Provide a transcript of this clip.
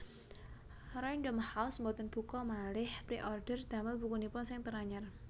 Random House mboten buka maleh preorder damel bukunipun sing teranyar